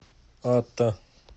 ата